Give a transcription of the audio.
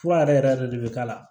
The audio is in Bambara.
Fura yɛrɛ yɛrɛ de bɛ k'a la